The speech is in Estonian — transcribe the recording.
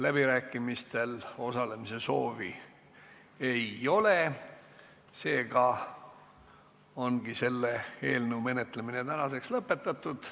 Läbirääkimistel osalemise soovi ei ole, seega ongi selle eelnõu menetlemine tänaseks lõpetatud.